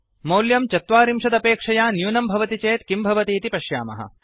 मौल्यं चत्वारिंशदपेक्षया न्यूनं भवति चेत् किं भवतीति पश्यामः